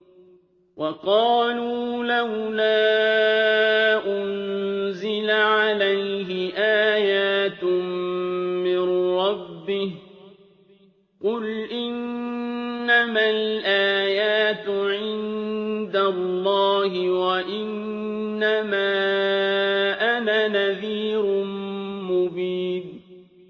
وَقَالُوا لَوْلَا أُنزِلَ عَلَيْهِ آيَاتٌ مِّن رَّبِّهِ ۖ قُلْ إِنَّمَا الْآيَاتُ عِندَ اللَّهِ وَإِنَّمَا أَنَا نَذِيرٌ مُّبِينٌ